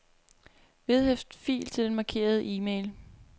Vedhæft fil til den markerede e-mail.